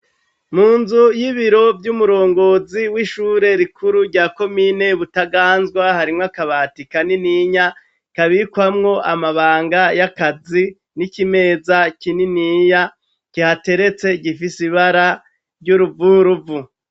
Mu nzu y'ibiro vy'umurongozi w'ishure rikuru rya komine Butaganzwa, harimwo akabati kanininya kabikwamwo amabanga y'akazi n'ikimeza kininiya kihateretse gifise ibara ry'uruvuruvu.